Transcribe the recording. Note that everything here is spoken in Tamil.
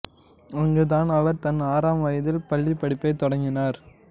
அங்கு தான் அவர் தன் ஆறாம் வயதில் பள்ளிபடிப்பை தொடங்கினார்